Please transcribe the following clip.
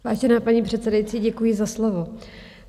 Vážená paní předsedající, děkuji za slovo.